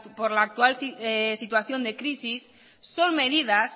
por la actual situación de crisis son medidas